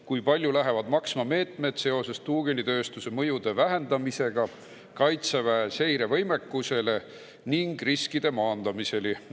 Kui palju lähevad maksma meetmed seoses tuugenitööstuse mõju vähendamisega Kaitseväe seirevõimekusele ning riskide maandamisega?